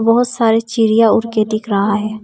बहोत सारी चिड़िया उड़ के दिख रहा है।